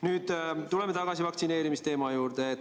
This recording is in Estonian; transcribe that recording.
Nüüd aga tuleme tagasi vaktsineerimisteema juurde.